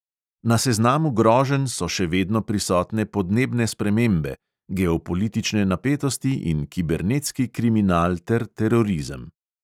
Na seznamu groženj so še vedno prisotne podnebne spremembe, geopolitične napetosti in kibernetski kriminal ter terorizem.